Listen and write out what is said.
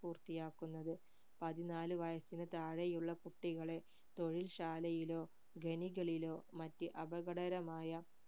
പൂർത്തിയാക്കുന്നത് പതിനാല് വയസ്സിനു താഴെയുള്ള കുട്ടികളെ തൊഴിൽ ശാലയിലോ ഖനികളിൽലോ മറ്റ് അപകടകരമായ